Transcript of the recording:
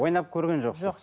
ойнап көрген жоқсыз жоқ